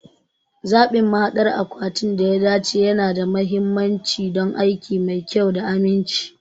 Zaɓin mahaɗdar akwatin da ya dace yana da mahimmanci don aiki mai kyau da aminci.